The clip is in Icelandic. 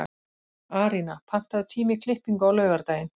Arína, pantaðu tíma í klippingu á laugardaginn.